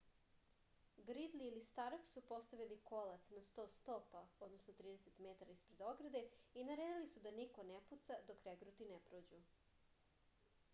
гридли или старк су поставили колац на 100 стопа 30 m испред ограде и наредили су да нико не пуца док регрути не прођу